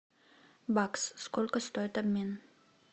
бакс сколько стоит обмен